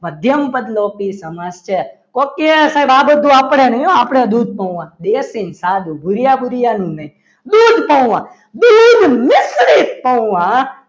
મધ્યમપદલોપી સમાસ છે ઓકે આ બધું આપણે નહીં આપણી દૂધપૌવા દેશી અને સાધુ ભુરીયા ભુરીયા નું નહીં દૂધ પૌવા દૂધ મિશ્રિત પૌવા